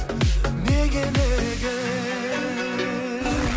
неге неге